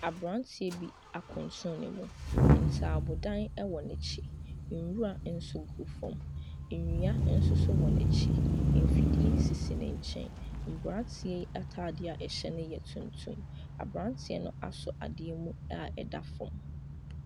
Aberanteɛ bi akuntunu ne mu. Ntaabodan wɔ n'akyi. Nwura nso gu fam. Nnua nso so wɔ n'akyi. Mfidie sisi ne nkyɛn. Aberanteɛ yi atadeɛ a ɛhyɛ no yɛ tuntum. Aberanteɛ no asɔ adeɛ mu a ɛda fam.